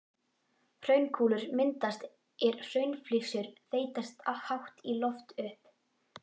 Hraunkúlur myndast er hraunflygsur þeytast hátt í loft upp.